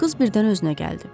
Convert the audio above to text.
Qız birdən özünə gəldi.